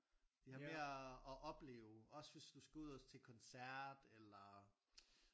De har mere at opleve også hvis du skal ud og til koncert eller